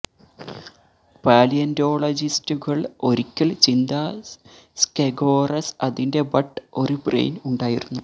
പാലിയന്റോളജിസ്റ്റുകൾ ഒരിക്കൽ ചിന്താ സ്കെഗോറസ് അതിന്റെ ബട്ട് ഒരു ബ്രെയിൻ ഉണ്ടായിരുന്നു